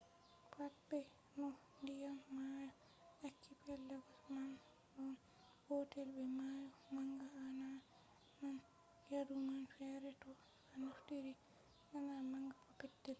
pat be no ndiyam mayo akipelagos man ɗon gotel be mayo manga a na nan yadu man fere fere to a naftiri laana manga ko petel